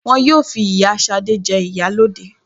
Wọ́n yóò fi ìyá Ṣadé jẹ ìyálóde